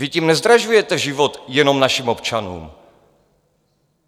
Vy tím nezdražujete život jenom našim občanům.